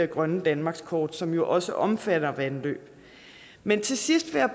grønne danmarkskort som jo også omfatter vandløb men til sidst vil